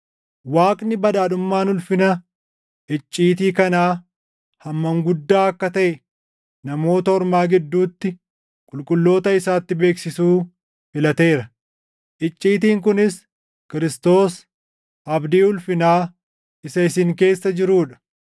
Waaqni badhaadhummaan ulfina icciitii kanaa hammam guddaa akka taʼe Namoota Ormaa gidduutti qulqulloota isaatti beeksisuu filateera; icciitiin kunis Kiristoos, abdii ulfinaa isa isin keessa jiruu dha.